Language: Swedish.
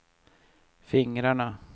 fingrarna